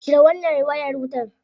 Cire wannan wayar wutar.